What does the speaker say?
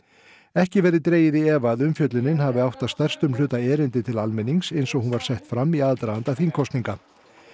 ekki verði dregið í efa að umfjöllunin hafi átt að stærstum hluta erindi til almennings eins og hún var sett fram í aðdraganda þingkosninga